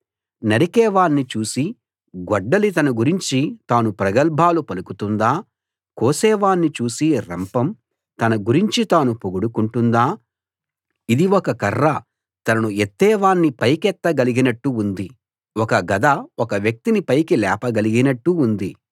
నరికేవాణ్ణి చూసి గొడ్డలి తన గురించి తాను ప్రగల్భాలు పలుకుతుందా కోసేవాణ్ణి చూసి రంపం తన గురించి తాను పొగడుకుంటుందా ఇది ఒక కర్ర తనను ఎత్తేవాణ్ణి పైకెత్తగలిగినట్టు ఉంది ఒక గద ఒక వ్యక్తిని పైకి లేపగలిగినట్టు ఉంది